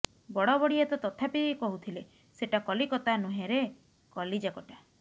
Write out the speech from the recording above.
ବଡ଼ବଡ଼ିଆ ତ ତଥାପି କହୁଥିଲେ ସେଟା କଲିକତା ନୁହେଁରେ କଲିଜାକଟା